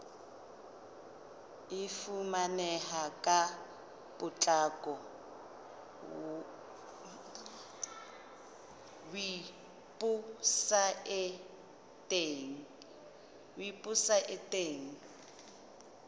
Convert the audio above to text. e fumaneha ka potlako weposaeteng